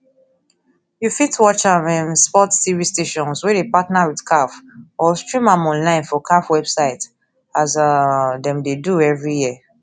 you fit watch am um sports tv stations wey dey partner wit caf or stream am online for caf website as um dem dey do evri year